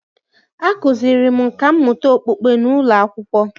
A kụziiri m nkà mmụta okpukpe n’ụlọ akwụkwọ